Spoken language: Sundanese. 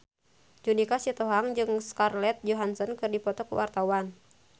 Judika Sitohang jeung Scarlett Johansson keur dipoto ku wartawan